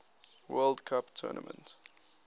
world cup tournament